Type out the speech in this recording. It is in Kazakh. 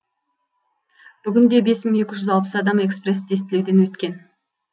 бүгінде бес мың екі жүз алпыс адам экспресс тестілеуден өткен